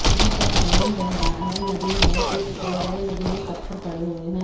यहां पर पानी बह रहा है नदी है कुछ बड़े बड़े नदी में पत्थर पड़े हुए हैं।